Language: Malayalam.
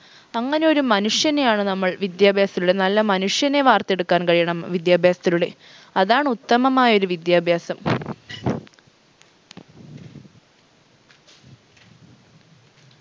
അങ്ങനെയൊരു മനുഷ്യനെയാണ് നമ്മൾ വിദ്യാഭ്യാസത്തിലൂടെ നല്ല മനുഷ്യനെ വാർത്തെടുക്കാൻ കഴിയണം വിദ്യാഭ്യാസത്തിലൂടെ അതാണ് ഉത്തമമായൊരു വിദ്യാഭ്യാസം